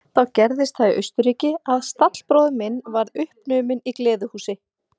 Þá gerðist það í Austurríki að stallbróðir minn varð uppnuminn í gleðihúsi.